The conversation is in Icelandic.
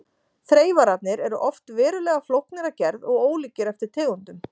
Þreifararnir eru oft verulega flóknir að gerð og ólíkir eftir tegundum.